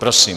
Prosím.